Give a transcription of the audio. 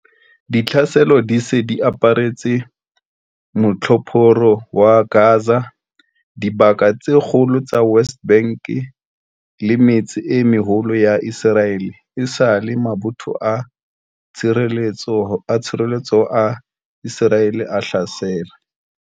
Ditlhaselo di se di aparetse Motjhophoro wa Gaza, dibaka tse kgolo tsa West Bank le metse e meholo ya Iseraele esale mabotho a tshireletseho a Iseraele a hlasela